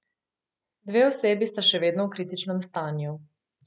Dve osebi sta še vedno v kritičnem stanju.